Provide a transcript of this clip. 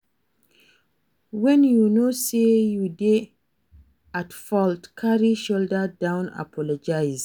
When you know sey you dey at fault carry shoulder down apologise